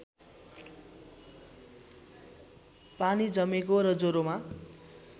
पानी जमेको र ज्वरोमा